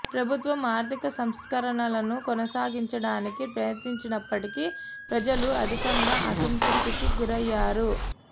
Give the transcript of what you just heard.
ప్రభుత్వం ఆర్థిక సంస్కరణలను కొనసాగించడానికి ప్రయత్నించినప్పటికీ ప్రజలు అధికంగా అసంతృప్తికి గురైయ్యారు